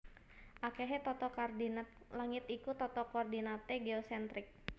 Akehé tata koordinat langit iku tata koordinaté geosentrik